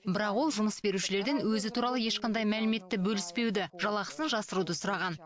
бірақ ол жұмыс берушілерден өзі туралы ешқандай мәліметті бөліспеуді жалақысын жасыруды сұраған